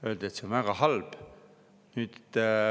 Öeldi, et see on väga halb.